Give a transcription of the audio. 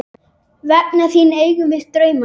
Vegna þín eigum við drauma.